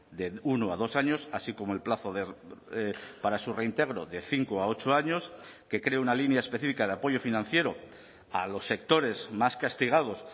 de uno a dos años así como el plazo para su reintegro de cinco a ocho años que cree una línea específica de apoyo financiero a los sectores más castigados